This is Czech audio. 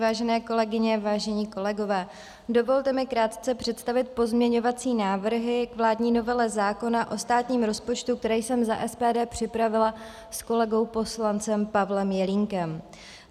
Vážené kolegyně, vážení kolegové, dovolte mi krátce představit pozměňovací návrhy k vládní novele zákona o státním rozpočtu, které jsem za SPD připravila s kolegou poslancem Pavlem Jelínkem.